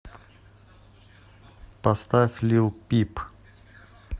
поставь лил пип